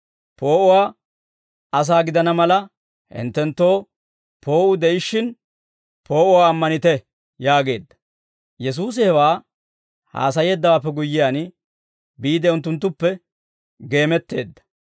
Poo'uwaa asaa gidana mala, hinttenttoo poo'uu de'ishshin, poo'uwaa ammanite» yaageedda. Yesuusi hewaa haasayeeddawaappe guyyiyaan, biide unttunttuppe geemetteedda.